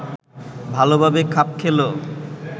ভালোভাবে খাপ খেল